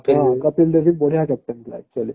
କପିଲ ଦେବ ବି ବଢିଆ captain ଥିଲା actually